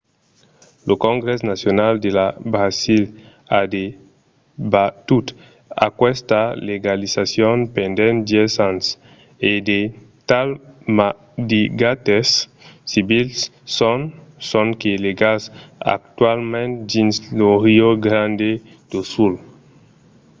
lo congrès nacional de brasil a debatut aquesta legalizacion pendent 10 ans e de tals maridatges civils son sonque legals actualament dins lo rio grande do sul